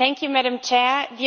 Madam President,